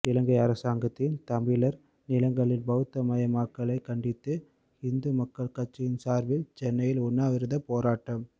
இலங்கை அரசாங்கத்தின் தமிழர் நிலங்களில் பௌத்தமயமாக்கலைக் கண்டித்து இந்துமக்கள் கட்சியின் சார்பில் சென்னையில் உண்ணாவிரதப் போராட்டம்